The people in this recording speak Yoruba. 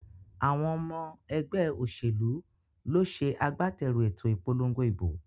Àwon omo egbé òsèlú ló se agbáterù èto ìpolongo ìbò